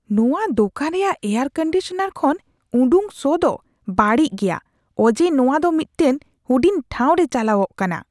ᱱᱚᱶᱟ ᱫᱳᱠᱟᱱ ᱨᱮᱭᱟᱜ ᱮᱭᱟᱨᱠᱚᱱᱰᱤᱥᱚᱱᱟᱨ ᱠᱷᱚᱱ ᱩᱰᱩᱠ ᱥᱚ ᱫᱚ ᱵᱟᱹᱲᱤᱡ ᱜᱮᱭᱟ ᱚᱡᱮ ᱱᱚᱶᱟ ᱫᱚ ᱢᱤᱫᱴᱮᱱ ᱦᱩᱰᱤᱧ ᱴᱷᱟᱶ ᱨᱮ ᱪᱟᱞᱟᱣᱚᱜ ᱠᱟᱱᱟ ᱾